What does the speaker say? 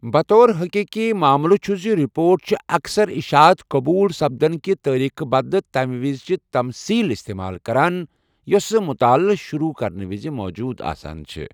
بطور حقیقی ماملہٕ چھٗ زِ ، رپورٹ چھِ اَکثَر اشعات قبوُل سپدن كہِ تاریخہٕ بدلہٕ تمہِ وِزِچہِ تمصیل اِستمال كران یوسہٕ مٖٗتعالہٕ شروع كرنہٕ وِزِ موجوُد آسان چھے٘ ۔